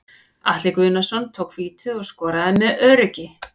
Atli Guðnason tók vítið og skoraði með öruggi.